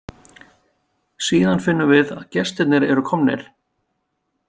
Síðan finnum við að gestirnir eru komnir.